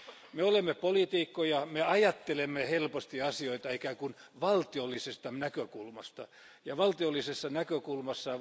Me olemme poliitikkoja, ajattelemme helposti asioita ikään kuin valtiollisesta näkökulmasta ja valtiollisessa näkökulmassa.